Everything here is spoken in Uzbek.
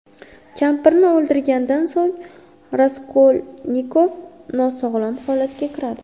Kampirni o‘ldirgandan so‘ng Raskolnikov nosog‘lom holatga kiradi.